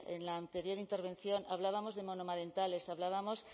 en la anterior intervención hablábamos de monomarentales hablábamos